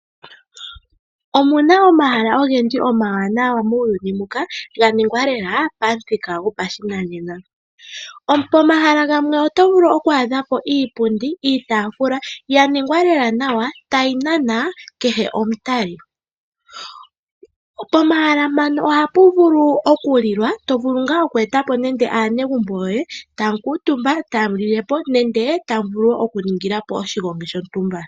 Omuna omahala ogendji oma wanawa muuyuni muka ngoka ga ningwa lela pamuthika go pa shi nanena. Pomahala gamwe oto vulu oku adhapo iipundi ,iitafula ya ningwa lela nawa ta yi nana kehe omutali. Pomahala mpano oha pu vulu oku lilwa nenge tovulu ngaa oku etapo nenge aanegumbo yoye ,tamu kuutumba ,ta mu lilepo nenge ta mu vulu oku ningilapo oshigongi shontumba.